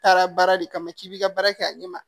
Taara baara de kama k'i bi ka baara kɛ a ɲɛ ma